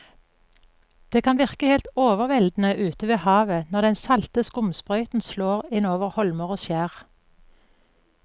Det kan virke helt overveldende ute ved havet når den salte skumsprøyten slår innover holmer og skjær.